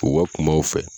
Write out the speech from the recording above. U ka kuma u fɛ